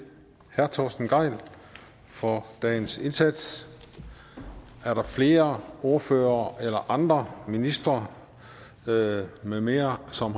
herre torsten gejl for dagens indsats er der flere ordførere eller andre ministre med med mere som